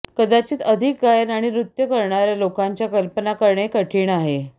कदाचित अधिक गायन आणि नृत्य करणार्या लोकांच्या कल्पना करणे कठिण आहे